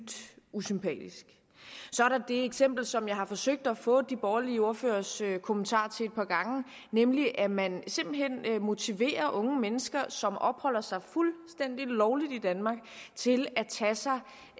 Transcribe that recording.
usympatisk så er der det eksempel som jeg har forsøgt at få de borgerlige ordføreres kommentar til et par gange nemlig at man simpelt hen motiverer unge mennesker som opholder sig fuldstændig lovligt i danmark til at tage sig